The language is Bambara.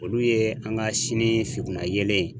Olu ye an ka sini fitina yelen ye.